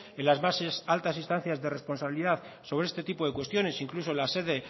en las bases altas instancias de responsabilidad sobre este tipo de cuestiones incluso en la sede